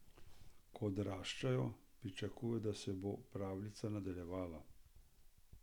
Ko odraščajo, pričakujejo, da se bo pravljica nadaljevala.